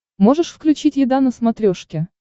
можешь включить еда на смотрешке